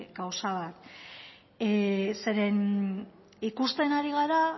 gauza bat ikusten ari gara